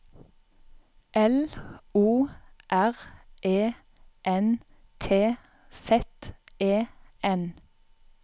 L O R E N T Z E N